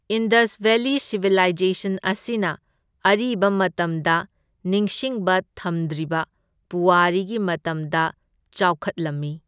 Indus valley civilisation ꯑꯁꯤꯅ ꯑꯔꯤꯕ ꯃꯇꯝꯗ ꯅꯤꯡꯁꯤꯡꯕ ꯊꯝꯗ꯭ꯔꯤꯕ ꯄꯨꯋꯥꯔꯤꯒꯤ ꯃꯇꯝꯗ ꯆꯥꯎꯈꯠꯂꯝꯃꯤ꯫